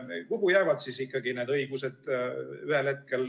Kuhu jäävad siis ikkagi need õigused?